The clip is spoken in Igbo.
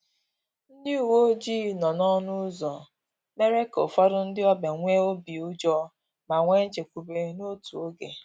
Ndị uweojii nọ n’ọnụ ụzọ mere ka ụfọdụ ndị ọbịa nwee obi ụjọ ma nwee nchekwube n’otu oge